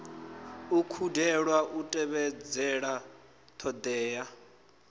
u kundelwa u tevhedzela ṱhoḓea